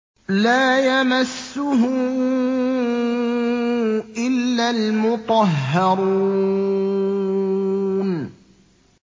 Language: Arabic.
لَّا يَمَسُّهُ إِلَّا الْمُطَهَّرُونَ